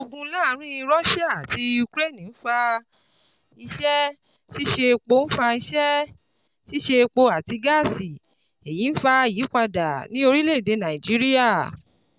Ogun láàárín Russia àti Ukraine ń fa iṣẹ́-ṣiṣe epo ń fa iṣẹ́-ṣiṣe epo àti gáàsì, èyí ń fa ìyípadà ní orilẹ̀ èdè Naijiria.